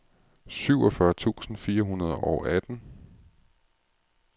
syvogfyrre tusind fire hundrede og atten